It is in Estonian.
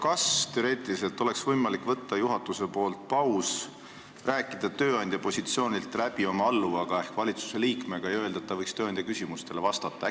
Kas teoreetiliselt oleks juhatusel võimalik teha paus, rääkida tööandja positsioonilt läbi oma alluvaga ehk valitsusliikmega ja öelda, et ta võiks tööandja küsimustele vastata?